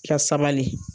Ka sabali